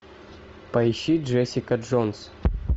поищи джессика джонс